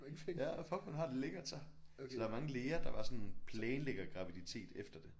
Ja fuck man har det lækkert så så der er mange læger der bare sådan planlægger graviditet efter det